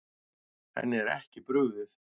Henni er ekki brugðið.